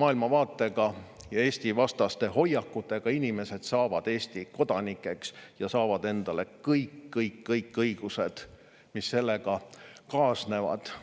maailmavaatega ja Eesti-vastaste hoiakutega inimesed saavad Eesti kodanikeks ja saavad endale kõik-kõik-kõik õigused, mis sellega kaasnevad.